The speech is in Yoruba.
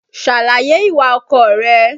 Ṣàlàyè ìwà ọkọ rẹ.